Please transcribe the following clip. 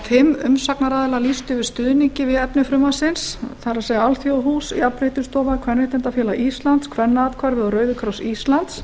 fimm umsagnaraðilar lýstu yfir stuðningi við efni frumvarpsins það er alþjóðahús jafnréttisstofa kvenréttindafélag íslands kvennaathvarfið og rauði kross íslands